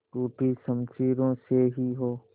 टूटी शमशीरों से ही हो